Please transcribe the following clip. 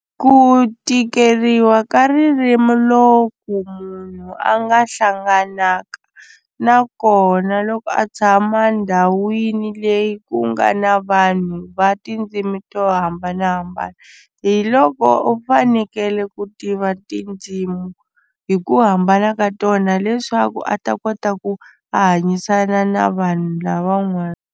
Ku tikeriwa ka ririmi lo ku munhu a nga hlanganaka na kona loko a tshama ndhawini leyi ku nga na vanhu va tindzimi to hambanahambana hi loko u fanekele ku tiva tindzimi hi ku hambana ka tona leswaku a ta kota ku hanyisana na vanhu lavan'wana.